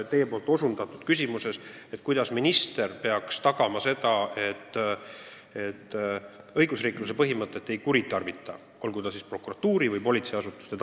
Te küsisite, kuidas minister peaks tagama, et õigusriikluse põhimõtet ei kuritarvitata ei prokuratuuris ega politseiasutustes.